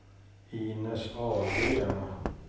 Inez Ahlgren